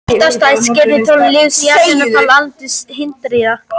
Eitt af stærstu skrefum í þróun lífs á jörðunni var landnám hryggdýra.